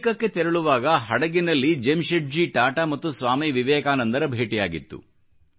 ಅಮೇರಿಕಕ್ಕೆ ತೆರಳುವಾಗ ಹಡಗಿನಲ್ಲಿ ಜೆಮ್ಶೆಡ್ಜಿ ಟಾಟಾ ಮತ್ತು ಸ್ವಾಮಿ ವಿವೇಕಾನಂದರ ಭೇಟಿಯಾಗಿತ್ತು